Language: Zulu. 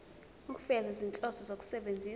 ukufeza izinhloso zokusebenzisa